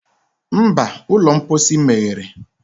Mba, ụlọ mposi meghere